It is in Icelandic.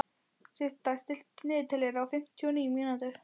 Systa, stilltu niðurteljara á fimmtíu og níu mínútur.